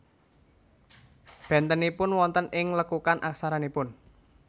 Bentenipun wonten ing lekukan aksaranipun